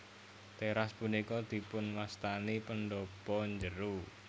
Teras punika dipunwastani pendhapa njero